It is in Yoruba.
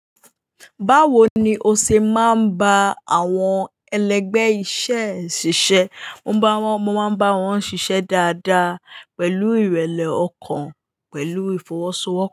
Báwo ni o ṣe máa ń bá àwọn ẹlẹgbẹ́ iṣẹ́ ṣiṣẹ́? Mo máa ń bá wọn ṣiṣẹ́ dáadáa pẹ̀lú ìrẹ̀lẹ̀ ọkàn pẹ̀lú ìfọwọ́sowọ́